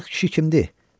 O arıq kişi kim idi?